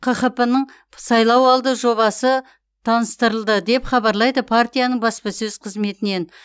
қхп ның сайлауалды жобасы таныстырылды деп хабарлайды партияның баспасөз қызметінен